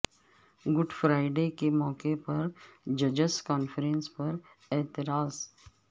good Friday کے موقع پر ججس کانفرنس پر اعتراض